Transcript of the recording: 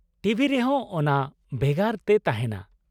T V ᱨᱮᱦᱚᱸ ᱚᱱᱟ ᱵᱷᱮᱜᱟᱨ ᱛᱮ ᱛᱟᱦᱮᱱᱟ ᱾